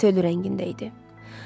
Sifəti ölü rəngində idi.